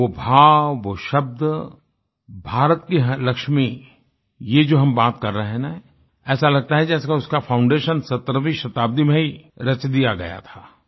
वो भाव वो शब्द भारत की हर लक्ष्मी ये जो हम बात कर रहे हैं ना ऐसा लगता है जैसे कि उसका फाउंडेशन 17वीं शताब्दी में ही रच दिया गया था